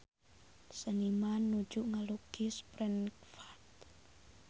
Seniman nuju ngalukis Frankfurt